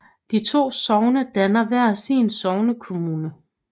De to sogne dannede hver sin sognekommune